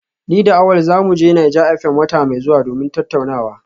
Ni da Awal za mu je Naija FM wata mai zuwa domin tattaunawa